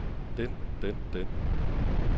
den den den